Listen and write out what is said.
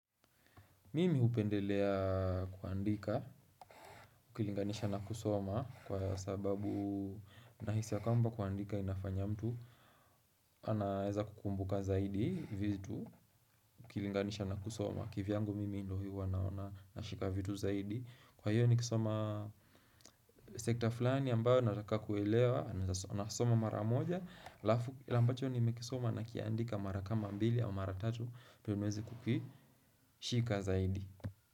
Mimi upendelea kuandika, ukilinganisha na kusoma kwa sababu nahisi ya kamba kuandika inafanya mtu. Anaeza kukumbuka zaidi, vitu, ukilinganisha na kusoma. Kivyangu mimi ndo hiu wanaona, nashika vitu zaidi. Kwa hiyo nikisoma sekta fulani ambayo nataka kuelewa, nasoma mara moja. Kile ambacho nimekisoma nakiandika mara kama mbili au mara tatu, ndio nieze kukishika zaidi.